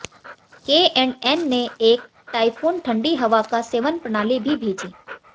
के and N ने एक टाइफून ठंडी हवा का सेवन प्रणाली भी भेजी